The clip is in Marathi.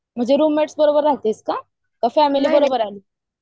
म्हणजे रुमेट्स बरोबर राहतेस का?कि फॅमिली बरोबर आहे